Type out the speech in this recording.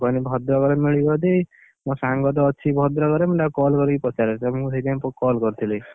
ମୁଁ କହିଲି ଭଦ୍ରକରେ ମିଳିବ ଯଦି, ମୋ ସାଙ୍ଗତ ଅଛି ଭଦ୍ରକରେ ମୁଁ ତାକୁ call କରି ପଚାରେ ତ ମୁଁ ସେଇଥିପାଇଁ call କରିଥିଲି।